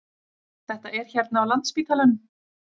Þetta er hérna á Landspítalanum.